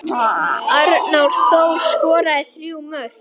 Mér tókst að koma kúl